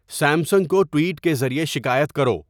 Samsung کو tweet کے ذریعے شکایت کرو